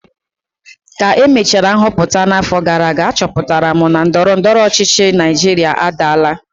ka emechara nhọpụta n'afọ gara aga, achọpụtara m na ndọrọ ndọrọ ọchịchị Naijiria adaala